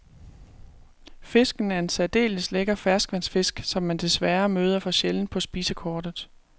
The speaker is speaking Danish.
Fisken er en særdeles lækker ferskvandsfisk, som man desværre møder for sjældent på spisekortet.